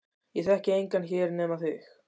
Ég þekki engan hér nema þig.